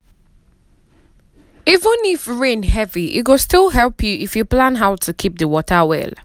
even if rain heavy e go still help you if you plan how to keep the water well.